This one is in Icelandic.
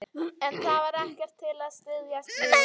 En það var ekkert til að styðjast við.